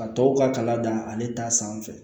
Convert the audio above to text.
A tɔw ka kalan dan ale ta sanfɛ